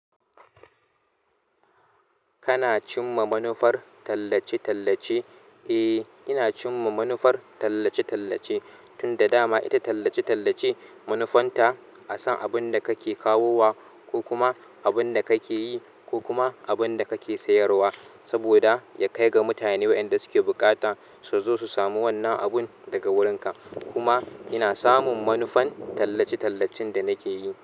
Kana cinma manufar tallace tallace? Eh, ina cimma manufar tallace-tallace. Tun da dama ita tallace-tallace manufanta a san abin da kake kawowa ko kuma abin da kake yi ko kuma abin da kake sayarwa, saboda ya kai ga mutane wayanda suke buƙata su zo su samu wannan abun daga wurinka. Kuma ina samun manufan tallace-tallacen da nake yi.